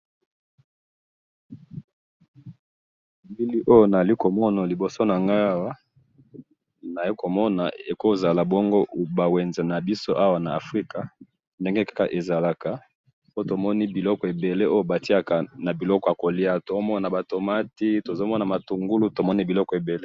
Elili oyo naali komona liboso nangayi awa, naali komona ekoozala bongo ba wenze nabiso awa na africa, ndenge kaka ezalaka, po tomoni biloko ebele oyo batiyaka nabiloko yakoliya, toomona ba tomate tozomona matungulu tomoni biloko ebele.